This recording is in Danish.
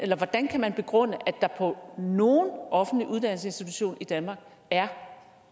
hvordan kan man begrunde at der på nogen offentlig uddannelsesinstitution i danmark er